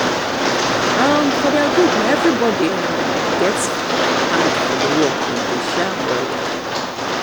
for their um group na everybody um get hand for the work dem dey share am well.